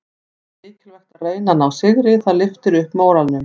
Það er mikilvægt að reyna að ná sigri, það lyftir upp móralnum.